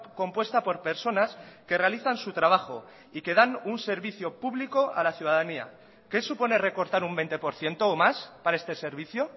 compuesta por personas que realizan su trabajo y que dan un servicio público a la ciudadanía qué supone recortar un veinte por ciento o más para este servicio